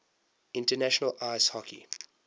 international ice hockey